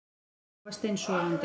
Ég var steinsofandi